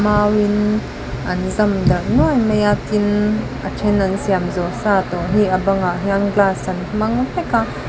mauin an zam darh nuai mai a tin a then an siam zawh sa tawh hi a bangah hian glass an hmang vek a.